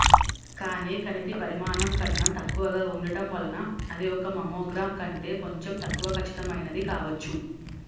కానీ కణితి పరిమాణం కన్నా తక్కువగా ఉండటం వలన అది ఒక మామోగ్రాం కంటే కొంచెం తక్కువ ఖచ్చితమైనది కావచ్చు